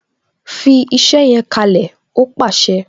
"Fi iṣẹ yẹn kalẹ "ó pàṣẹ